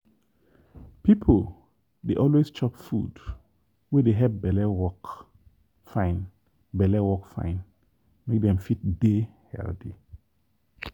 people dey always chop food wey dey help belle work fine belle work fine make dem fit dey healthy.